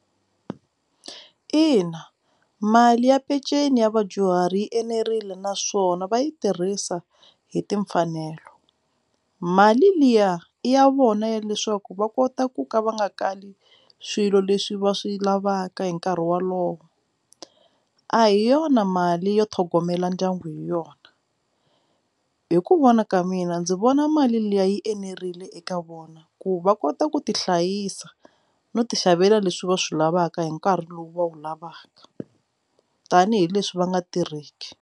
Ina, mali ya peceni ya vadyuhari yi enerile naswona va yi tirhisa hi timfanelo mali liya i ya vona ya leswaku va kota ku ka va nga kali swilo leswi va swi lavaka hi nkarhi wolowo a hi yona mali yo tlhogomela ndyangu hi yona hi ku vona ka mina ndzi vona mali liya yi enerile eka vona ku va kota ku ti hlayisa no tixavela leswi va swi lavaka hi nkarhi lowu va wu lavaka tanihileswi va nga tirheki.